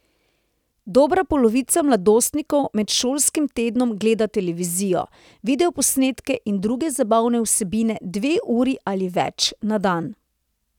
Dobra polovica mladostnikov med šolskim tednom gleda televizijo, videoposnetke in druge zabavne vsebine dve uri ali več na dan.